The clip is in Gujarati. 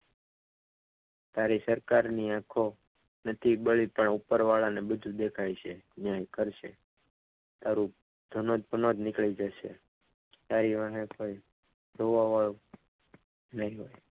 તારી સરકારની આંખો નથી બળી પણ ઉપરવાળાને બધું દેખાય છે જેમ કરશે તારું જનોતપનોત નીકળી જશે રીવા હે તો જોવા વાળો નહીં.